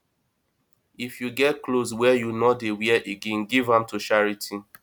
if you get clothes wey you no dey wear again give dem to charity